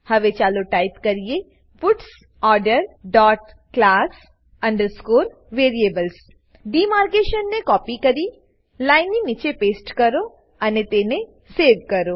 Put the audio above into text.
હવે ચાલો ટાઈપ કરીએ puts order dot class underscore variables ડીમાર્કેશનને કોપી કરી લાઈનની નીચે પેસ્ટ કરો અને તેને સેવ કરો